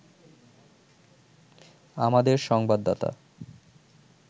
আমাদের সংবাদদাতা